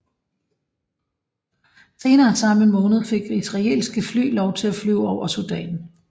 Senere samme måned fik israelske fly lov til at flyve over Sudan